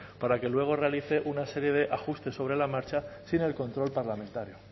para que luego realice una serie de ajustes sobre la marcha sin el control parlamentario